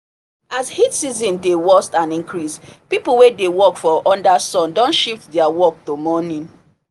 as heat season dey worst and increase people wey dey work for under sun don shift their work to morning